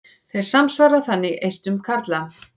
Þeir samsvara þannig eistum karla.